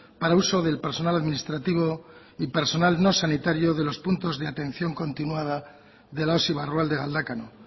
para uso del personal administrativo y personal no sanitario de los puntos de atención continuada de la osi barrualde galdakao